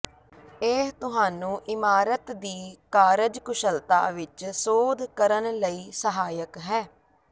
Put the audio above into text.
ਇਹ ਤੁਹਾਨੂੰ ਇਮਾਰਤ ਦੀ ਕਾਰਜਕੁਸ਼ਲਤਾ ਵਿੱਚ ਸੋਧ ਕਰਨ ਲਈ ਸਹਾਇਕ ਹੈ